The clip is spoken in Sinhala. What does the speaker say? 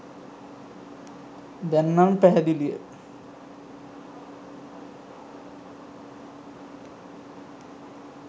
දැන් නන් පැහැදිලිය